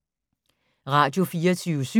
Radio24syv